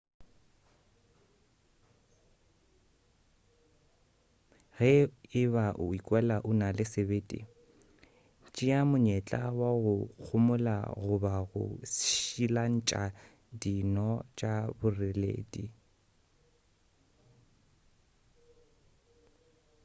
ge e ba o ikwela o na le sebete tšea monyetla wa go gamola goba go šilantša dino tša boreledi